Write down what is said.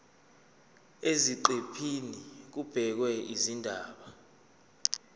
eziqephini kubhekwe izindaba